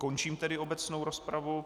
Končím tedy obecnou rozpravu.